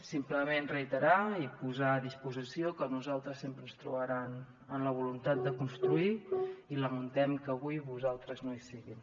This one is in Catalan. simplement reiterar i posar a disposició que a nosaltres sempre ens trobaran amb la voluntat de construir i lamentem que avui vostès no hi siguin